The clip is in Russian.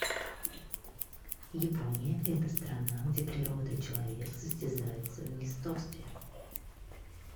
япония это страна где природа и человек состязаются в неистовстве